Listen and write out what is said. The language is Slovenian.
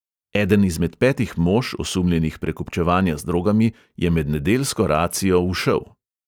Eden izmed petih mož, osumljenih prekupčevanja z drogami, je med nedeljsko racijo ušel.